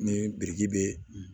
Ni biriki bɛ